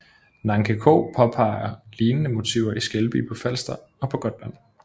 Nancke Krogh påpeger lignende motiver i Skelby på Falster og på Gotland